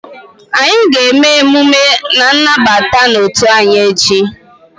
Anyị ga-eme emume nnabata n'otu anyị echi